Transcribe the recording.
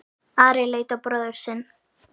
Ari leit á bróður sinn.